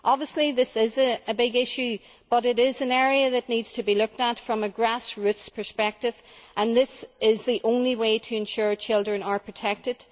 Obviously this is a big issue but it is an area that needs to be looked at from a grassroots perspective that is the only way to ensure children are protected.